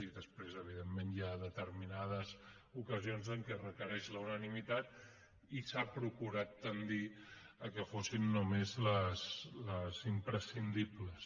i després evidentment hi ha determinades ocasions en què es requereix la unanimitat i s’ha procurat tendir que fossin només les imprescindibles